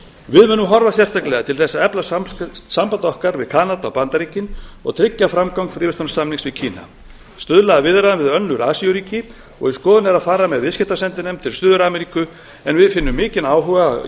við munum horfa sérstaklega til þess að efla samband okkar við kanada og bandaríkin og tryggja framgang fríverslunarsamnings við kína stuðla að viðræðum við önnur asíuríki og í skoðun er að fara með viðskiptasendinefnd til suður ameríku en við finnum mikinn áhuga í